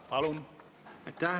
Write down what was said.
Palun!